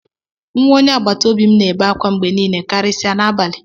Nwa onye agbataobi m na-ebe akwa mgbe niile karịsịa n'abalị